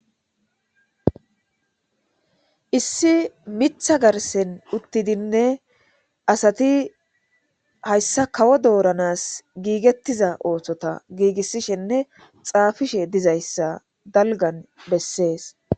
Issi miththa garssan uttidinne asati hayssa kawo doranas giigethiza oosota giigishenne xaafishe dizayta dalggan besses.